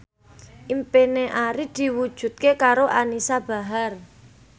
impine Arif diwujudke karo Anisa Bahar